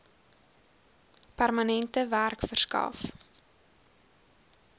permanente werk verskaf